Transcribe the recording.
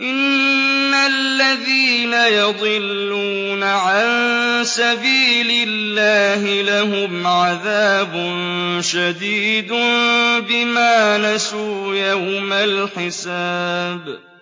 إِنَّ الَّذِينَ يَضِلُّونَ عَن سَبِيلِ اللَّهِ لَهُمْ عَذَابٌ شَدِيدٌ بِمَا نَسُوا يَوْمَ الْحِسَابِ